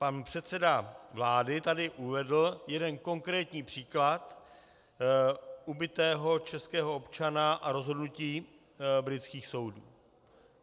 Pan předseda vlády tady uvedl jeden konkrétní příklad ubitého českého občana a rozhodnutí britských soudů.